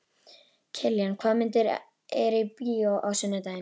Kiljan, hvaða myndir eru í bíó á sunnudaginn?